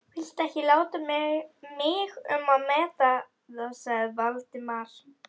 Viltu ekki láta mig um að meta það sagði Valdimar.